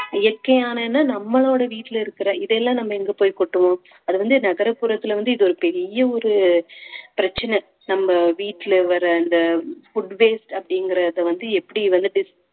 இயற்கையானன்னா நம்மளோட வீட்டுல இருக்கிற இதையெல்லாம் நம்ம எங்க போய் கொட்டுவோம் அது வந்து நகரப்புறத்துல வந்து இது ஒரு பெரிய ஒரு பிரச்சனை நம்ம வீட்டுல வர்ற அந்த food waste அப்படிங்கறத வந்து எப்படி வந்து dis~